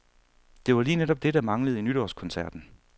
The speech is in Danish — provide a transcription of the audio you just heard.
Det var lige netop det, der manglede i nytårskoncerten.